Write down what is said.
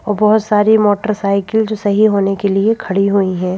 और बहुत सारी मोटरसाइकिल जो सही होने के लिए खड़ी हुई हैं।